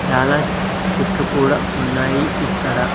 చాలా చెట్లు కూడా ఉన్నాయి ఇక్కడ.